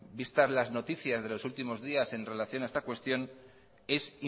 vistas las noticias de los últimos días en relación a esta cuestión es